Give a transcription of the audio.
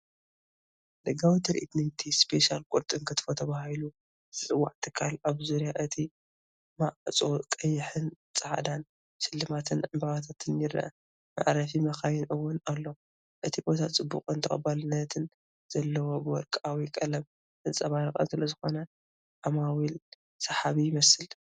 ደጋዊ ትርኢት ናይቲ "ስፔሻል ቁርጥና ክትፎ" ተባሂሉ ዝጽዋዕ ትካል፣ ኣብ ዙርያ እቲ ማዕጾ ቀይሕን ጻዕዳን ሽልማትን ዕምባባታትን ይርአ። መዕረፊ መካይን እውን ኣሎ። እቲ ቦታ ጽቡቕን ተቐባልነትን ዘለዎን ብወርቃዊ ቀለም ዘንፀባረቐን ስለዝኾነ ዓማዊል ሰሓቢ ይመስል፡፡